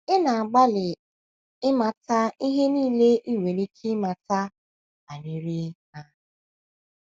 Ị na - agbalị ịmata um ihe nile i nwere ike ịmata banyere um ha ha.